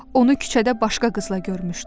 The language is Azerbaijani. Onu küçədə başqa qızla görmüşdü.